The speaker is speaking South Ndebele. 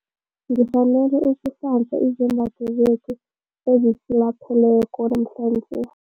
Ngifanele ukuhlanza izembatho zethu ezisilapheleko namhlanje.